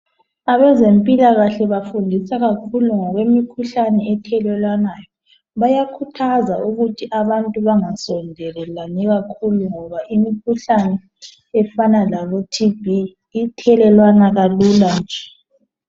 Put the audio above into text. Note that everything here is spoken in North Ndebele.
abezempilakahle bafundisa kakhulu ngokwemikhuhlane ethelelwanayo bayakhuthaza ukuthi abantu bangasondelelani kakhulu ngoba imikhuhlane efana labo TB ithelelwana kalula nje